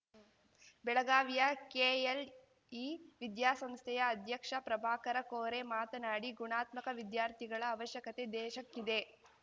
ಬೆಳಗಾವಿಯ ಕೆಎಲ್‌ಇ ವಿದ್ಯಾಸಂಸ್ಥೆಯ ಅಧ್ಯಕ್ಷ ಪ್ರಭಾಕರ ಕೋರೆ ಮಾತನಾಡಿ ಗುಣಾತ್ಮಕ ವಿದ್ಯಾರ್ಥಿಗಳ ಅವಶ್ಯಕತೆ ದೇಶಕ್ಕಿದೆ